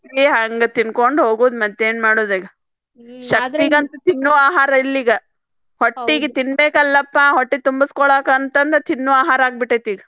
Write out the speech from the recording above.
ಹಂಗ್ ತಿನ್ಕೋಂಡ ಹೋಗುದ್ರಿ ಮತ್ತೇನ್ ಮಾಡುದೈತಿ ಶಕ್ತಿಗೆ ಅಂತ ತಿನ್ನಆಹಾರಿಲ್ ಈಗ ಹೊಟ್ಟಿಗ್ ತಿನ್ಬೇಕಲ್ಲಪಾ ಹೊಟ್ಟಿ ತುಂಬಾಸ್ಕೊಳಾಕ್ ಅಂತಂದ ತಿನ್ನು ಆಹಾರ ಆಗಿಬಿಟ್ಟೆತಿ.